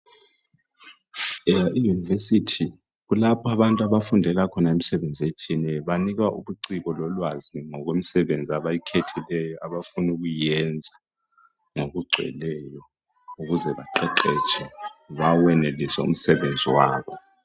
EUniversity kulapho abantu abafundela khona imisebenzi etshiyeneyo. Banikwa ubuciko lolwazi ngokwemisebenzi abayikhethileyo abafunu kuyiyenza ngokugcweleyo ukuze baqeqetshe bawenelise umsebenzi wabo.